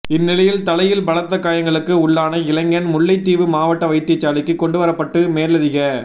இந்நிலையில் தலையில் பலத்த காயங்களுக்கு உள்ளான இளைஞன் முல்லைத்தீவு மாவட்ட வைத்தியசாலைக்கு கொண்டு வரப்பட்டு மேலதிக